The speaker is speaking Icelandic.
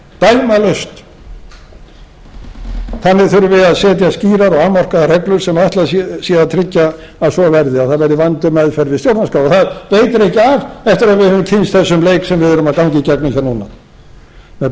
dæmalaust þannig þurfi að setja skýrar og afmarkaðar reglur sem ætlað er að tryggja að svo verði að það verði vönduð meðferð við stjórnarskrá það veitir ekki af eftir að við höfum kynnst þessum leik sem við erum að ganga í gegnum núna með